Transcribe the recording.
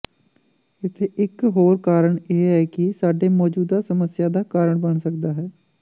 ਇੱਥੇ ਇਕ ਹੋਰ ਕਾਰਨ ਇਹ ਹੈ ਕਿ ਸਾਡੇ ਮੌਜੂਦਾ ਸਮੱਸਿਆ ਦਾ ਕਾਰਨ ਬਣ ਸਕਦਾ ਹੈ